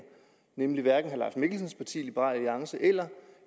nemlig hverken herre mikkelsens parti liberal alliance eller